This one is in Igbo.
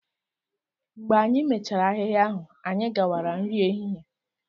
Mgbe anyị mechara ahịhịa ahụ, anyị gawara nri ehihie